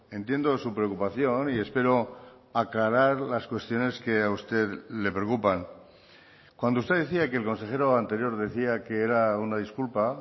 entiendo su preocupación y espero aclarar las cuestiones que a usted le preocupan cuando usted decía que el consejero anterior decía que era una disculpa